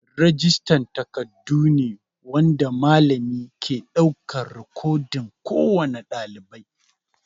Rijista takardun ne wanda malami ke ɗaukar rikodin kowane ɗalibai.